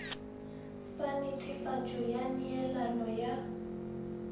sa netefatšo ya neelano ya